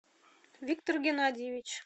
виктор геннадьевич